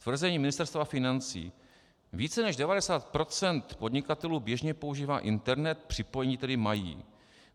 Tvrzení Ministerstva financí: Více než 90 % podnikatelů běžně používá internet, připojení tedy mají.